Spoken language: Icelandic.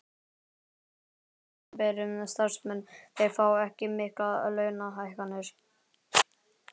Sem sagt að opinberir starfsmenn þeir fá ekki miklar launahækkanir?